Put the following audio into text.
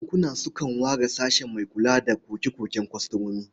Bankuna sukan ware sashe mai kula da koke-koken kwastomomi.